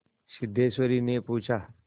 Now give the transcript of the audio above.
सिद्धेश्वरीने पूछा